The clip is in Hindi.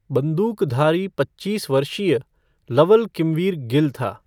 बंदूकधारी पच्चीस वर्षीय लवल किमवीर गिल था।